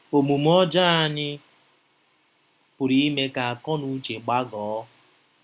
Omume ọjọọ anyị pụrụ ime ka akọnuche gbagọọ.